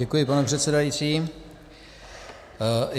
Děkuji, pane předsedající.